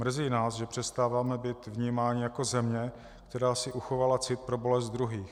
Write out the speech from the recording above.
Mrzí nás, že přestáváme být vnímáni jako země, která si uchovala cit pro bolest druhých.